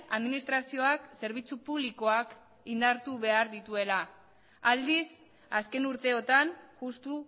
administrazioak zerbitzu publikoak indartu behar dituela aldiz azken urteotan justu